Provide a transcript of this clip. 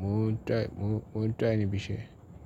mo ń try mò ń try níbi iṣẹ́